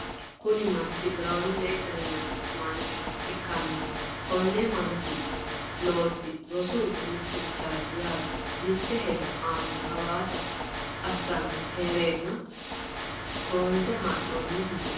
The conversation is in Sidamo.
kuni manchi biraanu negga yinanni mancho ikkanna konni manchi losino rosu ministerichaati yaate, mitte hedo aana hasaawa assanni heereenna qonce haa'noonni misileeti.